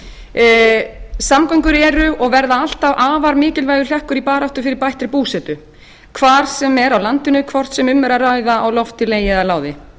landsbyggðarmanneskja samgöngur eru og verða alltaf afar mikilvægur hlekkur í baráttu fyrir bættri búsetu hvar sem er á landinu hvort sem um er að ræða á lofti legi og láði